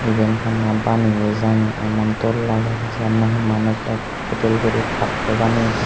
eben honna banaye jani amon dol lager Jian nahe manuj ek gudel gori kattoi baneye de.